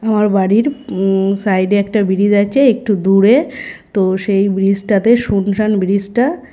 আমার বাড়ির উম সাইড - এ একটা ব্রিজ আছে একটু দূরে তো সেই ব্রিজ - টাতে শুনশান ব্রিজ -টা ।